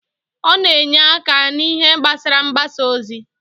Ọ na-enye aka n'ihe gbasara mgbasa ozi.